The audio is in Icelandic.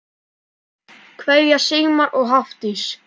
Kveðja, Sigmar og Hafdís.